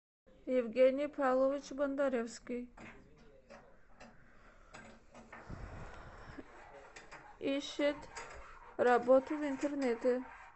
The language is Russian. евгений павлович бондаревский ищет работу в интернете